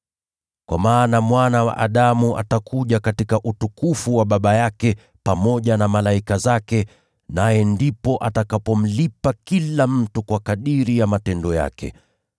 Kwa maana Mwana wa Adamu atakuja katika utukufu wa Baba yake pamoja na malaika zake, naye ndipo atakapomlipa kila mtu kwa kadiri ya matendo yake.